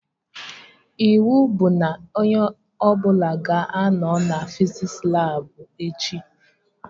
Iwu bụ na onye ọbụla ga-anọ na fiziks labụ echi!